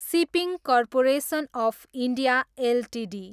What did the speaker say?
shipping corporation of India Ltd